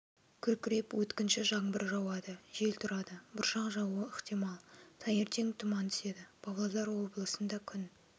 күркіреп өткінші жаңбыр жауады жел тұрады бұршақ жаууы ықтимал таңертең тұман түседі павлодар облысында күн